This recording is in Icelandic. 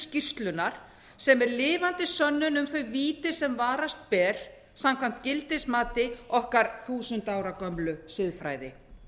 skýrslunnar sem er lifandi sönnun um þau víti sem brást ber samkvæmt gildismati okkar þúsund ára gömlu siðfræði